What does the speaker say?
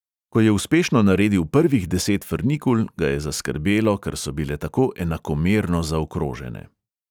Ko je uspešno naredil prvih deset frnikul, ga je zaskrbelo, ker so bile tako enakomerno zaokrožene.